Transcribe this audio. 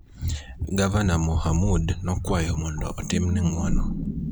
Gavana Mohamud nokwayo mondo otimne ng'uono